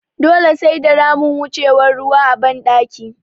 Dole sai da ramin wucewan ruwa a ban ɗaki